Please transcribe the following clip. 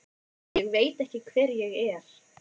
Ég veit ekki hver ég er.